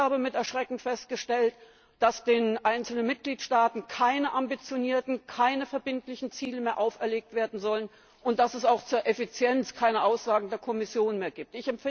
Ich habe mit Erschrecken festgestellt, dass den einzelnen Mitgliedstaaten keine ambitionierten, keine verbindlichen Ziele mehr auferlegt werden sollen, und dass es auch zur Effizienz keine Aussagen der Kommission mehr gibt.